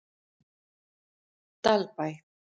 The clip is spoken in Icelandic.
Dalbæ